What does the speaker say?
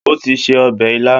O ti se ọbẹ̀ ilá